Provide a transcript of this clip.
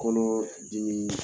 Kɔnɔ dimi